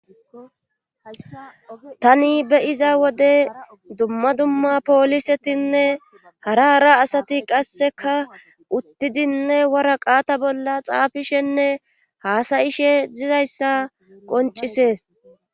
tani beyiza wode dumma dumma poolisetinne hara hara asati qasseka uttidinne wara qaata bolla xaafishenne haasayishe dizayssa qoncisees